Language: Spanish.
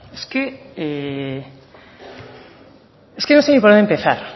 es que no sé ni por dónde empezar